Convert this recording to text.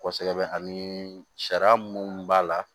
Kosɛbɛ ani sariya munnu b'a la